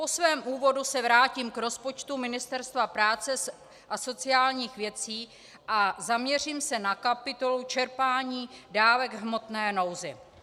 Po svém úvodu se vrátím k rozpočtu Ministerstva práce a sociálních věcí a zaměřím se na kapitolu Čerpání dávek v hmotné nouzi.